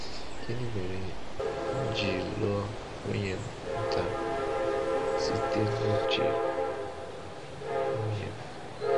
Gịnị mere m ji lụọ nwunye m ntà: site n’uche nwunye m.